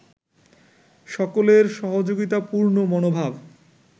সকলের সহযোগিতাপূর্ণ মনোভাব